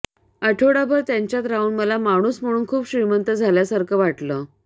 आठवडाभर त्यांच्यात राहून मला माणूस म्हणून खूप श्रीमंत झाल्यासारखं वाटलं